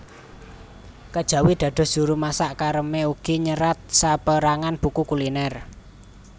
Kejawi dados juru masak Carême ugi nyerat sapérangan buku kuliner